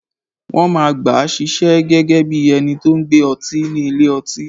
Wọ́n máa gbàá ṣiṣẹ́ gẹ́gẹ́ bí ẹni tó n gbé ọtí ni ilé-ọtí